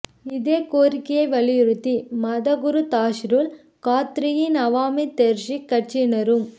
இதே கோரிக்கையை வலியுறுத்தி மத குரு தாஹிருல் காத்ரியின் அவாமி தெஹ்ரிக் கட்சியினரும்